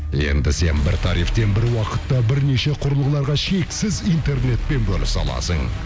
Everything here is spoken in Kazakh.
енді сен бір тарифтен бір уақытта бірнеше құрылғыларға шексіз интернетпен бөлісе аласың